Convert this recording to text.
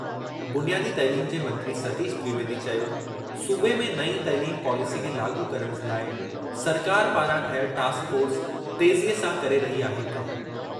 बुनियादी तइलीम जे मंत्री सतीश द्विवेदी चयो-सूबे में नईं तइलीम पॉलेसी खे लाॻू करणु जे लाइ सरकार पारां ठहियल टास्क फ़ोर्स तेज़ीअ सां करे रही आहे कम।